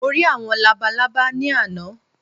Mo rí àwọn labalábá ní àná